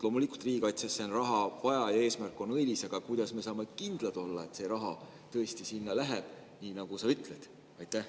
Loomulikult on riigikaitsesse raha vaja ja eesmärk on õilis, aga kuidas me saame kindlad olla, et see raha tõesti sinna läheb, nii nagu sa ütled?